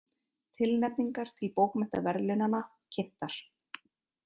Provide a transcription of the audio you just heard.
Tilnefningar til bókmenntaverðlaunanna kynntar